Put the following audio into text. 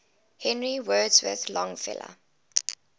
henry wadsworth longfellow